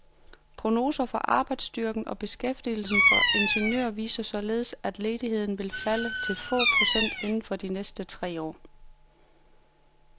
Prognoser for arbejdsstyrken og beskæftigelsen for ingeniører viser således, at ledigheden vil falde til få procent inden for de næste tre år.